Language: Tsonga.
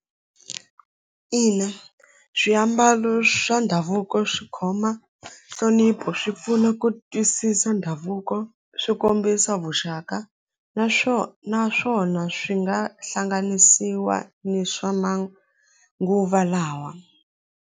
Ina swiambalo swa ndhavuko swi khoma nhlonipho swi pfuna ku twisisa ndhavuko swi kombisa vuxaka naswona naswona swi nga hlanganisiwa ni swa manguva lawa.